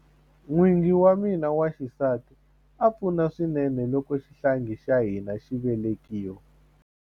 N'wingi wa mina wa xisati a pfuna swinene loko xihlangi xa hina xi velekiwa.